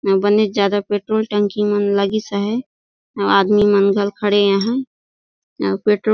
अउ बनेच ज्यादा पेट्रोल टंकी मन लागिस आहय अउ आदमी मन घल खड़े आहय अउ पेट्रोल --